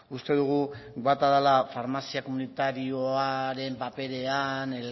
uste dugu bata dela farmazia komunitarioaren paperean